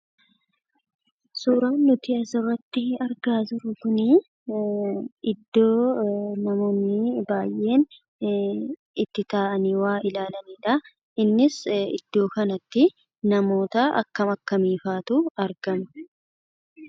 Suuraan nuti asirratti argaa jirru kunii iddoo namoonni baay'een itti taa'anii waa ilaalanidha. Innis iddoo kanatti namoota akkam akkamiifaatu argama?